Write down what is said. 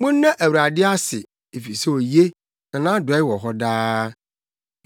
Monna Awurade ase efisɛ oye, na nʼadɔe wɔ hɔ daa.